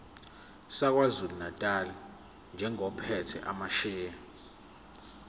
sakwazulunatali njengophethe amasheya